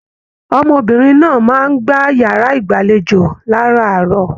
Ọmọbìnrin náà máa n gbà yàrá ìgbàlèjo láràárọ̀.